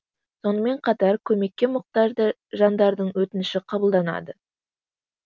сонымен қатар көмекке мұқтажды жандардың өтініші қабылданады